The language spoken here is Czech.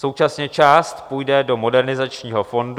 Současně část půjde do Modernizačního fondu.